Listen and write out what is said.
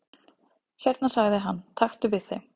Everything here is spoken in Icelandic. """Hérna sagði hann, taktu við þeim"""